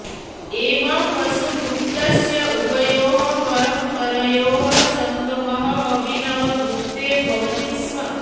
एवं वसुगुप्तस्य उभयोः परम्परयोः सङ्गमः अभिनवगुप्ते भवति स्म